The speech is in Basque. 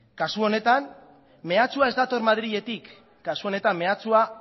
kasu honetan mehatxua ez dator madriletik kasu honetan mehatxua